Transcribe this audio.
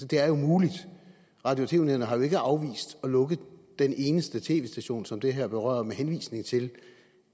det er jo muligt radio og tv nævnet har jo ikke afvist at lukke den eneste tv station som det her berører med henvisning til